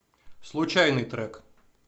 случайный трек